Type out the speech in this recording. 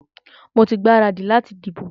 Mo ti gbaradì láti dìbò.